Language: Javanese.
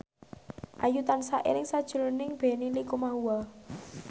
Ayu tansah eling sakjroning Benny Likumahua